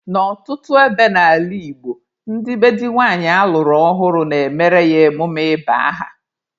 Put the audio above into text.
N'ọtụtụ ebe n'ala Igbo, ndị be di nwanyị alụrụ ọhụrụ na-emere ya emume ịba aha.